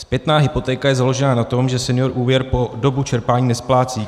Zpětná hypotéka je založena na tom, že senior úvěr po dobu čerpání nesplácí.